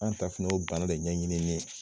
An ta fana y'o bana de ɲɛ ɲinini ye.